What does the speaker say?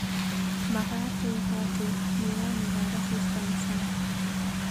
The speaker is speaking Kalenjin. Magaat aipote miwanikab asista eng sang